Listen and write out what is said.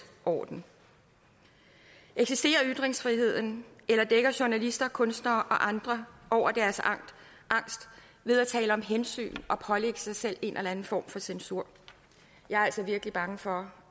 orden eksisterer ytringsfriheden eller dækker journalister kunstnere og andre over deres angst ved at tale om hensyn og pålægge sig selv en eller anden form for censur jeg er altså virkelig bange for